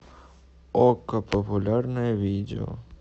окко популярное видео